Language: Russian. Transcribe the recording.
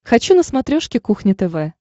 хочу на смотрешке кухня тв